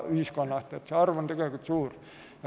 See arv on suur.